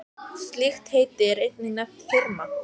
Slíkt heiti er einnig nefnt firma.